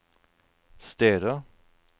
steder